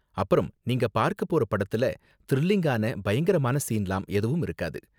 அப்பறம் நீங்க பார்க்க போற படத்துல த்ரில்லிங்கான பயங்கரமான சீன்லாம் எதுவும் இருக்காது.